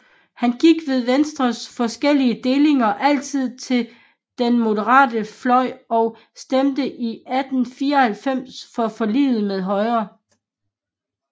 Han gik ved Venstres forskellige delinger altid til den moderate fløj og stemte 1894 for forliget med Højre